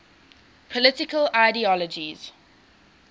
political ideologies